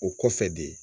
O kɔfɛ de